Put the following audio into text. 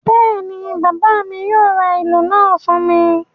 Bẹ́ẹ̀ ni, bàbá mi yóò ra ìlù náà fún mi.